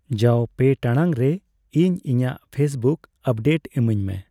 ᱡᱟᱣ ᱯᱮ ᱴᱟᱲᱟᱝ ᱨᱮ ᱤᱧ ᱤᱧᱟᱹᱜ ᱯᱷᱮᱥᱵᱩᱠ ᱟᱯᱰᱮᱴ ᱤᱢᱟᱹᱧᱢᱮ